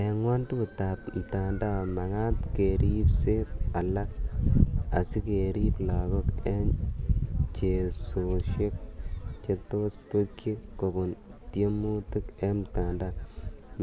Eng' ng'wantut ap mtandao magaat kariibseet alak asigeriib lagook eng' cheesosiek chetos twekchi kobun tiemutik eng' mtandao"